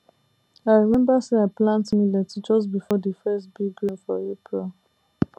i remember say i plant millet just before the first big rain for april